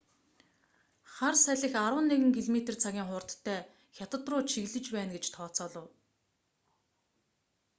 хар салхи арван нэг км/цагийн хурдтай хятад руу чиглэж байна гэж тооцоолов